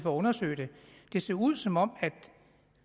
at undersøge det det ser ud som om